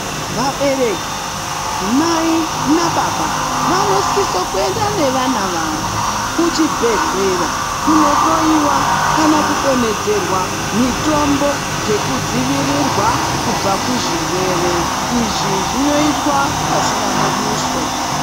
Vabereki mai nababa vanosisa kuenda nevana vavo kuchibhehleya kunohloyiwa kana kudonhedzerwa mitombo dzekudzivirirwa kubva kuzvirwere izvi zvinoitwa pasina muduso.